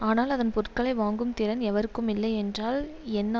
ஆனால் அதன் பொருட்களை வாங்கும் திறன் எவருக்கும் இல்லை என்றால் என்ன